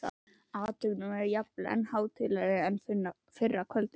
Athöfnin var jafnvel enn hátíðlegri en fyrra kvöldið.